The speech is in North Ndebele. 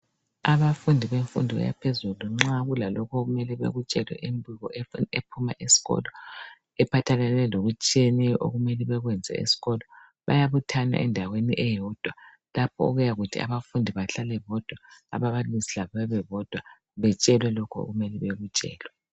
Abafundi bemfundo yaphezulu, nxa kulalokho okumele bakutshelwe. Imbiko ephuma esikolo. Ephathelane lokutshiyeneyo, okumele bakwenze esikolo. Bayabuthana endaweni eyodwa. Lapha okuyamela Abafundi bahlale bodwa. Aababalisi labo babebodwa.. Batshelwe lokho okumele bakutshelwe.